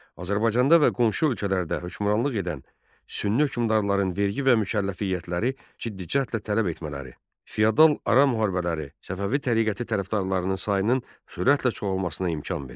Azərbaycanda və qonşu ölkələrdə hökmranlıq edən Sünni hökmdarların vergi və mükəlləfiyyətləri ciddi cəhdlə tələb etmələri, feodal ara müharibələri Səfəvi təriqəti tərəfdarlarının sayının sürətlə çoxalmasına imkan verdi.